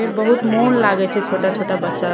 फेर बहुत मन लागय छै छोटा-छोटा बच्चा --